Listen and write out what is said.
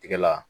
Tigɛ la